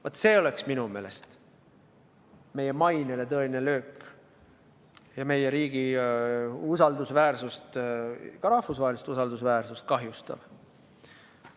Vaat see oleks minu meelest meie mainele tõeline löök ja meie riigi usaldusväärsust, ka rahvusvahelist usaldusväärsust, kahjustav.